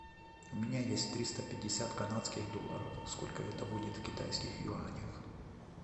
у меня есть триста пятьдесят канадских долларов сколько это будет в китайских юанях